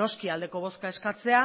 noski aldeko bozka eskatzea